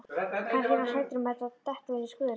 Kannski er hann hræddur um að detta ofan í skurð.